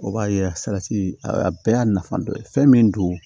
O b'a ye salati a bɛɛ y'a nafa dɔ ye fɛn min don